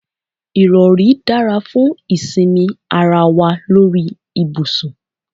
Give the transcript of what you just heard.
Ìrọ̀rí dára fún ìsinmi ara wa lórí ibùsùn.